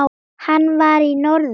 Hann var í norður.